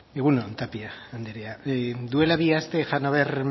egun on tapia anderea duela bi aste hannover